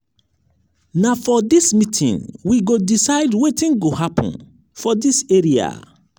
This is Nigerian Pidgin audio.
na for dis meeting we go decide wetin go happen for dis area.